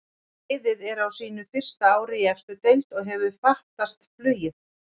Liðið er á sínu fyrsta ári í efstu deild og hefur fatast flugið.